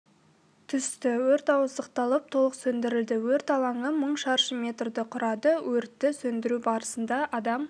түсті өрт ауыздықталып толық сөндірілді өрт алаңы мың шаршы метрді құрады өртті сөндіру барысында адам